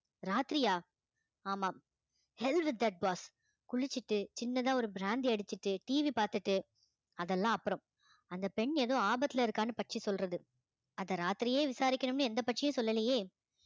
ராத்திரியா ஆமாம் குளிச்சிட்டு சின்னதா ஒரு பிராந்தி அடிச்சிட்டு TV பார்த்துட்டு அதெல்லாம் அப்புறம் அந்தப் பெண் ஏதோ ஆபத்துல இருக்கான்னு பட்சி சொல்றது அதை ராத்திரியே விசாரிக்கணும்னு எந்த பட்சியும் சொல்லலையே